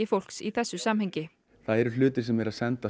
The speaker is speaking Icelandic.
fólks í þessu samhengi það eru hlutir að senda